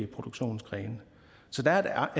produktionsgrene så der er